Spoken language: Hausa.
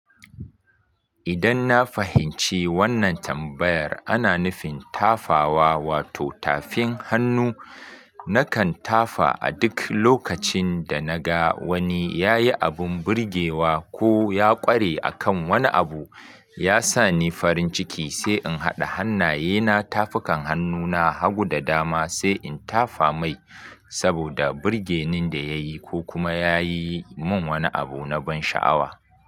Idan na fahimci wannan tambayar ana nufin tafawa wato tafin hannu, nakan tafa a duk lokacin da na ga wani ya yi abin birgewa ko ya ƙware a kan wani abu. Ya sa ni farin ciki sai in haɗa hannaye na tafukan hannuna hagu da dama sai in tafa mai saboda birgenin da ya yi ko kuma ya yi min wani abu na ban sha'awa.